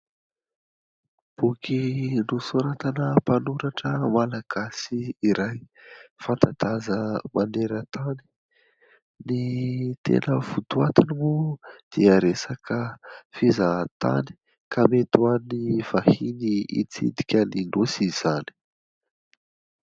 Boky nosoratana mpanoratra Malagasy iray fanta-daza maneran-tany, ny tena votoatiny moa dia resaka fizahantany ka mety ho an'ny vahiny itsidika ny nosy izany.